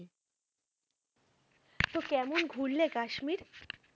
তো কেমন ঘুরলে কাশ্মীর?